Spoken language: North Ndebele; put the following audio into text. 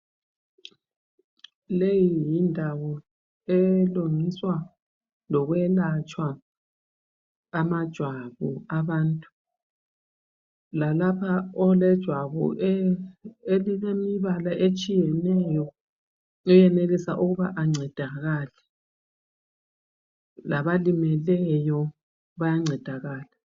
Leyi yindawo elungiswa lokwelatshwa amajwabu abantu lalapha olejwabu elilemibala etshiyeneyo oyenelisa ukuba ancedakale labalimeleyo bayancedakala.